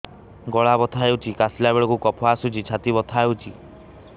ଗଳା ବଥା ହେଊଛି କାଶିଲା ବେଳକୁ କଫ ଆସୁଛି ଛାତି ବଥା ହେଉଛି